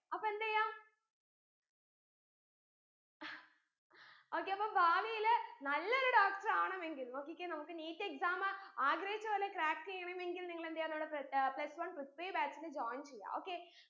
അപ്പൊ എന്തെയ്യാ okay അപ്പോ ഭാവിയില് നല്ലൊരു doctor ആണെമെങ്കിൽ നോക്കിക്കേ നമ്മക്ക് NEETexam ആഗ്രഹിച്ച പോലെ crack എയ്യണമെങ്കിൽ നിങ്ങളെന്തെയ്യ നമ്മടെ ഏർ plus one പൃഥ്വി batch ന് join ചെയ്യാ okay